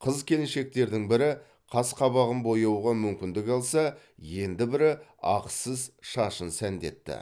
қыз келіншектердің бірі қасы қабағын бояуға мүмкіндік алса енді бірі ақысыз шашын сәндетті